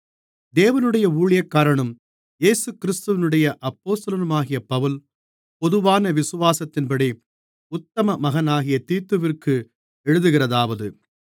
தேவனுடைய ஊழியக்காரனும் இயேசுகிறிஸ்துவினுடைய அப்போஸ்தலனுமாகிய பவுல் பொதுவான விசுவாசத்தின்படி உத்தம மகனாகிய தீத்துவிற்கு எழுதுகிறதாவது